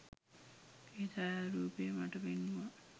ඒ ඡායාරූපය මට පෙන්නුවා